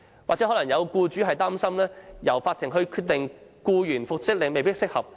或許會有僱主擔心，由勞審處作出僱員的復職決定未必適合。